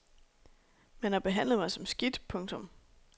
Man har behandlet mig som skidt. punktum